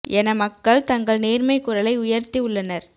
என மக்கள் தங்கள் நேர்மை குரலை உயர்த்தி உள்ளனர்